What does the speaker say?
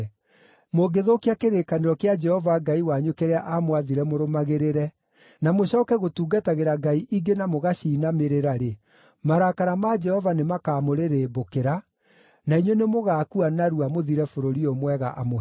Mũngĩthũkia kĩrĩkanĩro kĩa Jehova Ngai wanyu kĩrĩa aamwathire mũrũmagĩrĩre, na mũcooke gũtungatagĩra ngai ingĩ na mũgaciinamĩrĩra-rĩ, marakara ma Jehova nĩmakamũrĩrĩmbũkĩra, na inyuĩ nĩmũgakua narua mũthire bũrũri ũyũ mwega amũheete.”